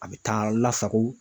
A bɛ taa lasago